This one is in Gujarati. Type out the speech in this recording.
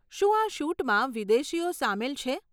શું આ શૂટમાં વિદેશીઓ સામેલ છે?